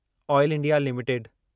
oil India limited